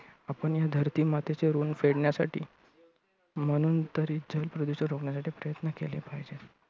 आपण ह्या धरती मातेचे ऋण फेडण्यासाठी म्हणून तर जल प्रदूषण रोखण्यासाठी प्रयत्न केले पाहिजेत.